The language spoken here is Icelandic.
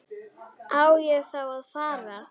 Á ég þá að fara.